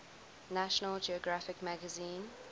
national geographic magazine